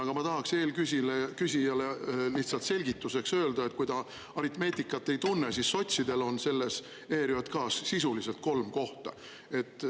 Aga ma tahaksin eelküsijale lihtsalt selgituseks öelda, kui ta aritmeetikat ei tunne: sotsidel on selles ERJK‑s sisuliselt kolm kohta.